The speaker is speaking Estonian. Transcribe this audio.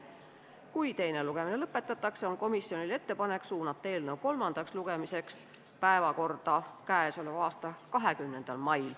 Kui teine lugemine lõpetatakse, on komisjonil ettepanek suunata eelnõu kolmandaks lugemiseks 20. mai istungi päevakorda.